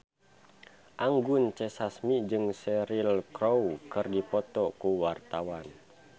Anggun C. Sasmi jeung Cheryl Crow keur dipoto ku wartawan